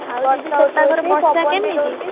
ଆଉ ଦିଦି ସେପାଖରେ ବର୍ଷା କେମିତି?